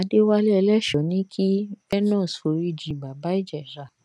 adéwálé ẹlẹ́shọ̀ọ́ ní kí venus foríjì bàbá ìjẹ̀sà